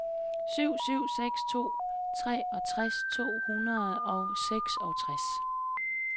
syv syv seks to treogtres to hundrede og seksogtres